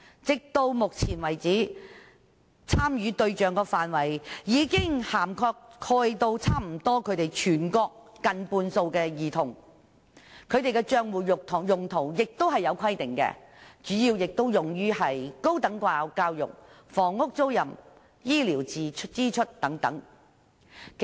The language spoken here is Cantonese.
直到目前為止，參與對象範圍已涵蓋全國近半數兒童，他們的帳戶用途亦有規定，主要用於高等教育、房屋租賃和醫療支出等。